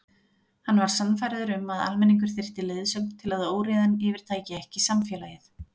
Hann var sannfærður um að almenningur þyrfti leiðsögn til að óreiðan yfirtæki ekki samfélagið.